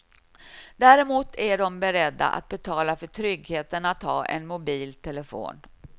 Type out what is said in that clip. Däremot är de beredda att betala för tryggheten att ha en mobil telefon.